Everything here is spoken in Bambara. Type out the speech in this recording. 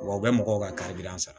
Wa u bɛ mɔgɔw ka sara